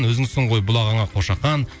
өзіңсің ғой бұлағыңа қошақан